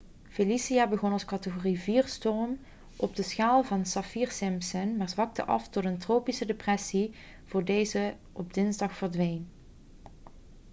felicia begon als categorie 4-storm op de schaal van saffir-simpson maar zwakte af tot een tropische depressie voor deze op dinsdag verdween